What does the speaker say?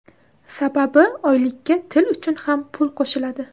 Sababi oylikka til uchun ham pul qo‘shiladi.